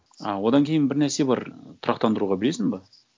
ы одан кейін бір нәрсе бар тұрақтандыруға білесің бе